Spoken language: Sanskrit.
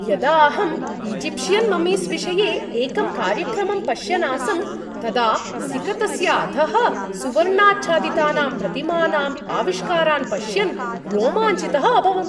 यदा अहम् ईजिप्षियन् मम्मीस् विषये एकं कार्यक्रमम् पश्यन् आसं तदा सिकतस्य अधः सुवर्णाच्छादितानां प्रतिमानाम् आविष्कारान् पश्यन् रोमाञ्चितः अभवम्।